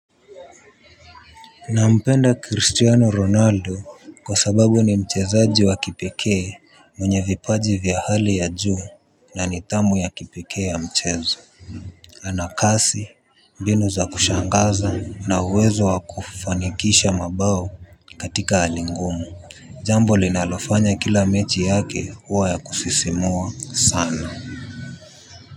Na mpenda Cristiano Ronaldo kwa sababu ni mchezaji wa kipekee mwenye vipaji vya hali ya juu na nithamu ya kipekee ya mchezo. Anakasi mbinu za kushangaza na uwezo wa kufanikisha mabao katika hali ngumu. Jambo linalofanya kila mechi yake huwa ya kusisimua sana.